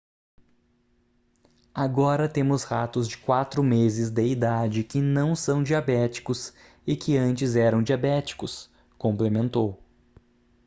"agora temos ratos de 4 meses de idade que não são diabéticos e que antes eram diabéticos,"complementou